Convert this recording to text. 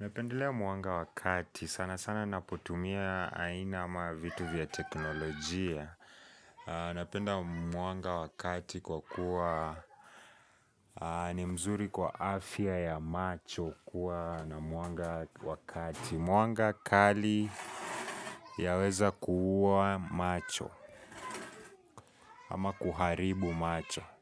napendelea mwanga wakati sana sana napotumia aina ama vitu vya teknolojia Unapendea mwanga wakati kwa kuwa ni mzuri kwa afia ya macho kuwa na mwanga wa kati Mwanga kali yaweza kuua macho ama kuharibu macho.